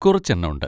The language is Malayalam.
കുറച്ചെണ്ണം ഉണ്ട്.